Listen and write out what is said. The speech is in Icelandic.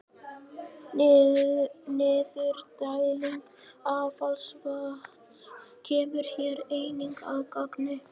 Niðurdæling affallsvatns kemur hér einnig að gagni.